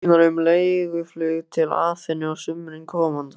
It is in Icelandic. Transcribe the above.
Útsýnar um leiguflug til Aþenu á sumri komanda.